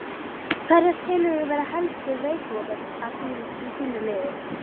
Hverja telurðu vera helstu veikleika í þínu liði?